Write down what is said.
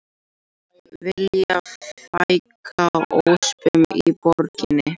Vilja fækka öspum í borginni